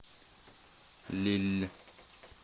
лилль